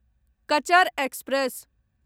Cachar express